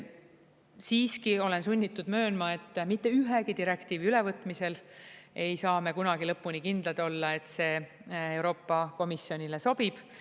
Siiski olen sunnitud möönma, et mitte ühegi direktiivi ülevõtmisel ei saa me kunagi lõpuni kindlad olla, et see Euroopa Komisjonile sobib.